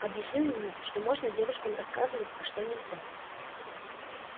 объясню ему что можно девушкам рассказывать а что нельзя